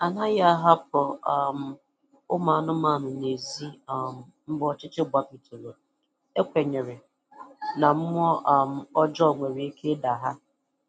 Anaghị ahapụ um anụmanụ n'ezi um mgbe ọchịchịrị gbachibidoro, e kwenyere na mmụọ um ọjọọ nwere ike ịda ha